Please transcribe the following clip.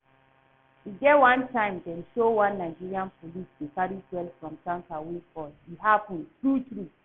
E get one time dem show one Nigerian police dey carry fuel from tanker wey fall, e happen true true?